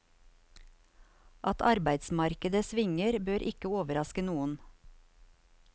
At arbeidsmarkedet svinger, bør ikke overraske noen.